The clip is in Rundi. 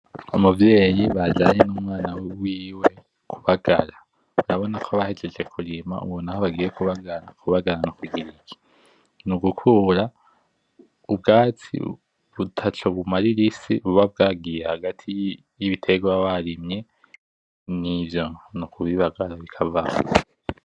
Umuvyeyi bajanye n'umwana wiwe kubagara, urabona ko bahejeje kurima, ubu naho bagiye kubagara. Kubagara ni kugira iki ? Kubagara, ni ugukura ubwatsi butaco bumarira isi buba bwagiye hagati y'ibiterwa baba barimye, nivyo, ni ukubibagara bikavaho.